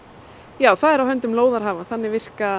já það er á höndum lóðarhafa þannig virka